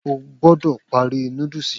O gbọ́dọ̀ parí noddles yìí.